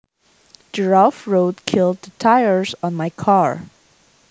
The rough road killed the tires on my car